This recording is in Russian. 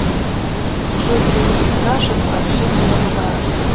джой при виде саше с сообщением на подарок